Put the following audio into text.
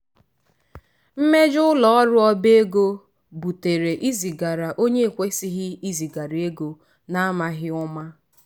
“mmejo ụlọọrụ obaego butere izigara onye ekwesighi izigara ego na amaghị ụma.”